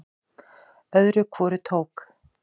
Öðru hvoru tók